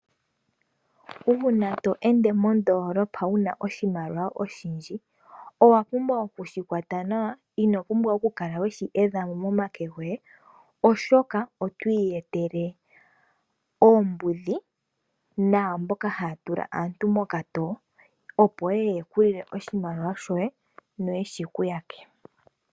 Uuna to ende mondolopa wuna oshimaliwa oshindji, owa pumbwa oku shi kwata nawa. Ino pumbwa kukala we shi yedha momake goye oshoka oto iyetele oombudhi naamboka haya tula aantu mokatowo, opo yeye ye ku lile oshimaliwa shoye, no yeshi ku yake.